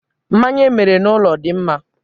Mmanya emere n'ụlọ dị mma